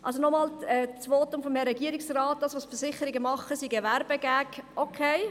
Zum einen auf das Votum des Regierungsrates, wonach das, was die Versicherungen tun, ein Werbegag sei.